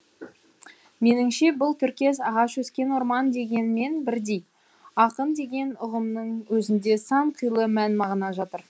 меніңше бұл тіркес ағаш өскен орман дегенмен бірдей ақын деген ұғымның өзінде сан қилы мән мағына жатыр